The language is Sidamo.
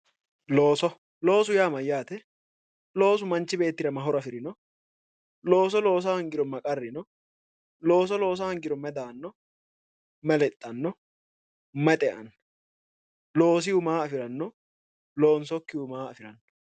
Looso, loosu yaa mayyate? Loosu manchu bbeettira ma horo afrino? Looso loosa hoongiro ma qarri ni? Looso loosa hoongiro mayi daanno? Mayi lexxanno mayi xeanno? Loosihu maa afiranno? Loonsokkihu maa afiranno?